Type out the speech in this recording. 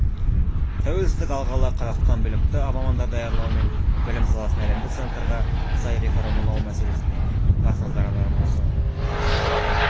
тәуелсіздік алғалы қазақстан білікті мамандар даярлау мен білім саласын әлемдік стандарттарға сай реформалау мәселесіне баса назар аударып осы